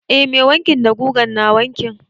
Eh mai wanki da gugan na wanki.